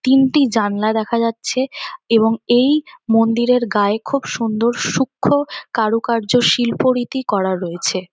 তিনটি জানলা দেখা যাচ্ছে এবং এই মন্দিরের গায়ে খুব সুন্দর সূক্ষ্ম কারুকার্য শিল্পরীতি করা রয়েছে ।